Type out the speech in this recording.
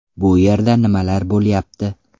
Bu yerda nimalar bo‘lyapti?